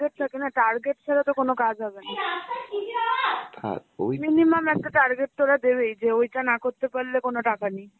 target ছাড়া তো কোন কাজ হবে না ওই minimum একটা target ওরা দেবেই যে ওইটা না করতে পারলে কোন টাকা নেই.